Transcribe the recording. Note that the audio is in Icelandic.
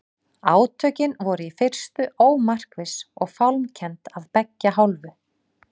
Átökin voru í fyrstu ómarkviss og fálmkennd af beggja hálfu.